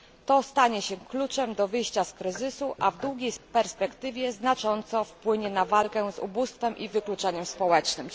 To stanie się kluczem do wyjścia z kryzysu, a w długiej perspektywie znacząco wpłynie na walkę z ubóstwem i wykluczeniem społecznym.